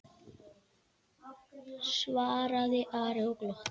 svaraði Ari og glotti.